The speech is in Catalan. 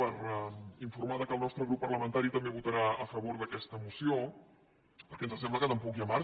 per informar que el nostre grup parlamentari també votarà a favor d’aquesta moció perquè ens sembla que tampoc hi ha marge